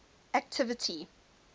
activity